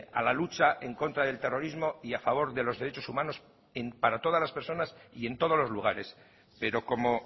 a la lucha en contra del terrorismo y a favor de los derechos humanos para todas las personas y en todos los lugares pero como